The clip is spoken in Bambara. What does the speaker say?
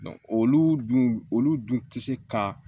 olu dun olu dun tɛ se ka